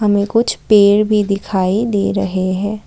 हमें कुछ पेड़ भी दिखाई दे रहे हैं।